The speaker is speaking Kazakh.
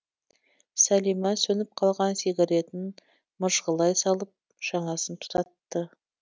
сәлима сөніп қалған сигаретін мыжғылай салып жаңасын тұтатты